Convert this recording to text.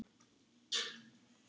Þau voru alla tíð náin.